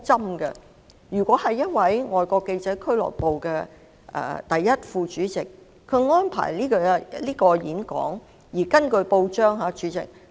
Mr MALLET 是外國記者會的第一副主席，他安排該場演講，而根據報章報道......